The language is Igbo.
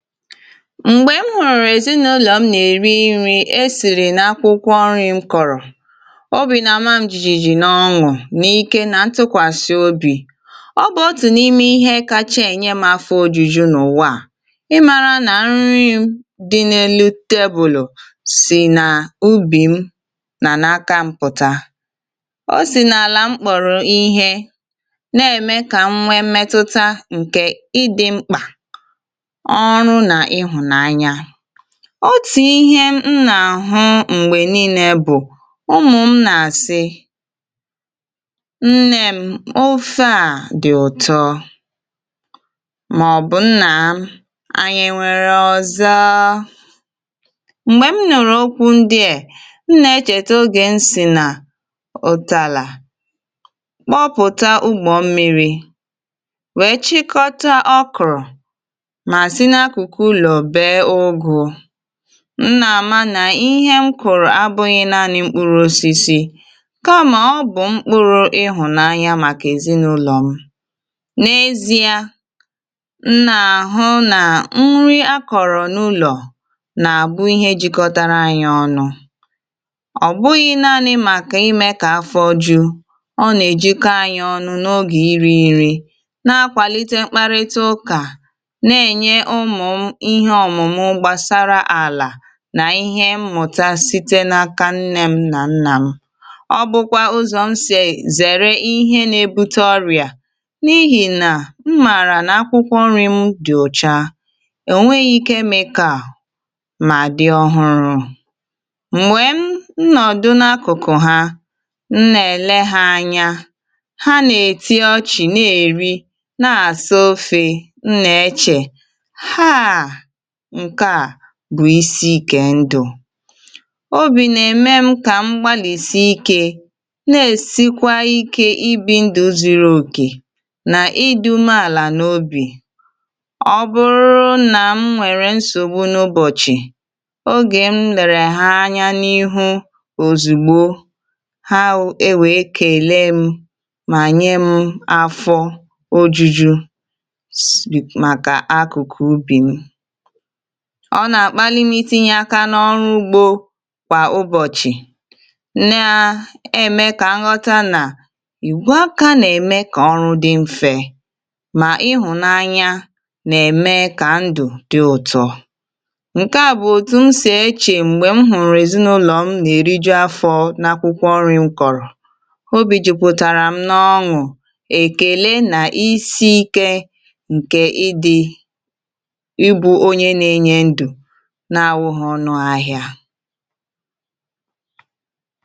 Mgbe m hụrụ ezinụlọ m na-eri nri e siri n'akwụkwọ nri m kọrọ, obi na-ama m jijiji n'ọ́ṅụ̀ na ike na ntụkwasị obi. Ọ bụ otu n'ime ihe kacha enye m afọ ojuju n'ụwa a ị mara na nri m dị n'elu tebụl si na ubi m na n'aka m pụta. O si n'ala m kpọrọ ihe na-eme ka m nwee mmetụta nke ịdị mkpa, ọrụ na ịhụnanya. Otu ihe m na-ahụ mgbe niile bụ ụmụ m na-asị "Nne m ofe a dị ụtọ" maọbụ "Nna m anyị e nwere ọzọ?". Mgbe m nụrụ okwu ndị a, m na-echeta oge m sị na oteala kpọpụta ụ́gbọ m mmiri wee chịkọta okra ma si n'akụkụ ụlọ bee ụ́gụ. M na-ama na ihe m kụrụ.